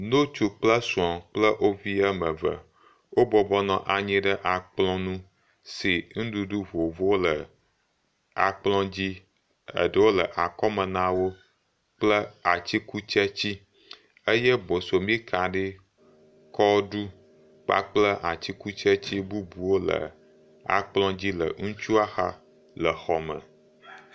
Ŋutsu kple sr kple wo vi woame ve. Wo bɔbɔnɔ anyi ɖe akplɔ ŋu, si nuɖuɖu vovovowo le akplɔ dzi, eɖewo le akɔme nawo kple atikutsetsi eye bosɔmika ɖe, kɔɖu, kpakple atikutsetse bubuwo le akplɔ dzi le ŋutsua xa. Le xɔ me.